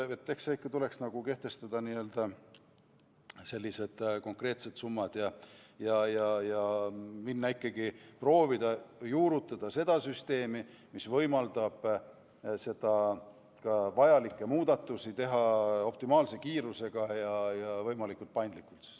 Eks tuleks kehtestada ikka konkreetsed summad ja proovida siiski juurutada sellist süsteemi, mis võimaldab teha vajalikke muudatusi optimaalse kiirusega ja võimalikult paindlikult.